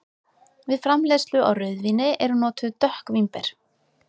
Við framleiðslu á rauðvíni eru notuð dökk vínber.